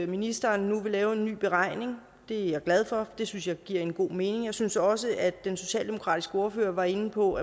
ministeren nu vil lave en ny beregning det er jeg glad for det synes jeg giver god mening jeg synes også at det den socialdemokratiske ordfører var inde på